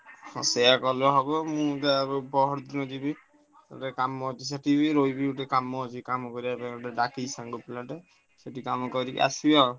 ହଁ ସେଇଆ କଲେ ହବ ମୁଁ ତାପରେ ପହରଦିନ ଯିବି କାମ ଅଛି ସେଠିବି ରହିବି ଟିକେ କାମ ଅଛି କାମ କରିବେ ପାଇଁ ଡ଼ାକିଛି ଗୋଟେ ସାଙ୍ଗ ପିଲାଟେ ସେଠିକି କାମ କରିକି ଆସିବି ଆଉ।